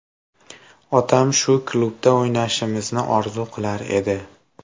Otam shu klubda o‘ynashimni orzu qilar edi.